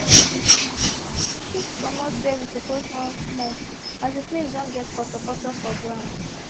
we shift comot where we suppose run small as the place don get poto poto for ground